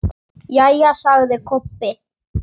Jæja, sagði Kobbi.